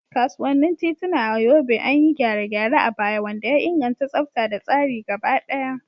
Kasuwannin tituna a Yobe an yi gyare-gyare a baya, wanda ya inganta tsafta da tsari gaba daya.